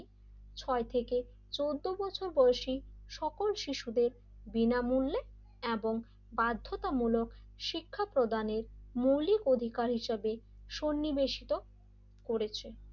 ছয় থেকে চোদ্দ বছর বয়সি সকল শিশুদের বিনামূল্য এবং বাধ্যতামূলক শিক্ষা প্রদানের মৌলিক অধিকার হিসেবে সন্নিবেশিত করেছে,